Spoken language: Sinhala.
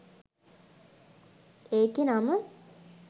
ඒකෙ නම